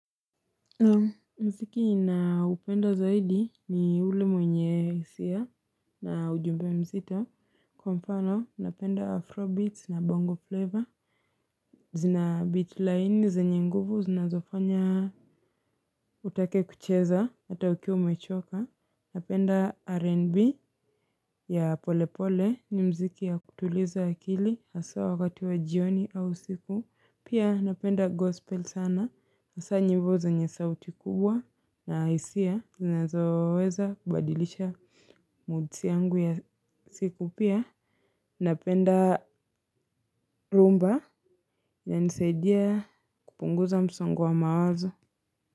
Muziki ninaopenda zaidi, ni ule mwenye hisia na ujumbe mzito, kwa mfano ninapenda afro beats na bongo flavor zina beat laini, zinazofanya utake kicheza hata ukiwa umechoka. Napenda R&B ya polepole; ni muziki ya kutuliza akili haswa wakati wa jioni au usiku. Pia napenda gospel sana. Hasa nyimbo zenye sauti kubwa na hisia, zinazoweza kubadilisha moods yangu ya siku pia. Napenda rumba inanisaidia kupunguza msongo wa mawazo.